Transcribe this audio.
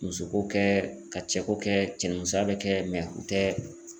Musoko kɛ, ka cɛko kɛ, cɛnimusoya be kɛ mɛ o tɛ